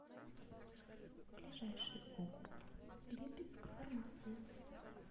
ближайший огуп липецкфармация